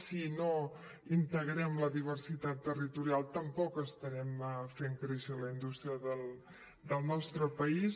si no integrem la diversitat territorial tampoc estarem fent créixer la indústria del nostre país